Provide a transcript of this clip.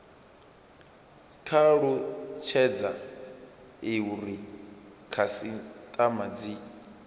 kwa talutshedza uri khasitama dzi